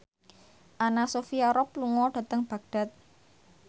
Anna Sophia Robb lunga dhateng Baghdad